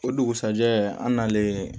O dugusɛjɛ an nalen